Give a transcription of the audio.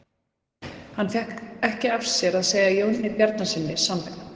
Hann fékk ekki af sér að segja Jóni Bjarnasyni sannleikann.